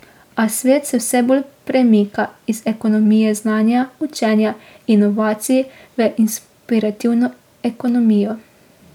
A svet se vse bolj premika iz ekonomije znanja, učenja, inovacij v inspirativno ekonomijo.